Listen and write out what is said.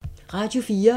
Radio 4